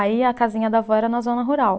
Aí, a casinha da vó era na zona rural.